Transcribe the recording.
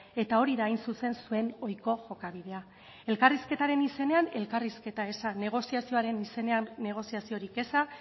eta hori da hain zuzen zuen ohiko jokabidea elkarrizketaren izenean elkarrizketa eza negoziazioaren izenean negoziaziorik eza